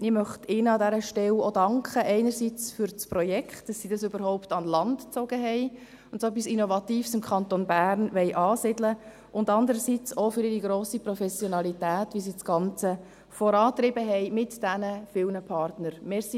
Ich möchte ihnen an dieser Stelle auch danken, einerseits für das Projekt, dass sie dieses überhaupt an Land gezogen haben und so etwas Innovatives im Kanton Bern ansiedeln wollen, und andererseits auch für ihre grosse Professionalität, wie sie das Ganze mit diesen vielen Partnern vorangetrieben haben.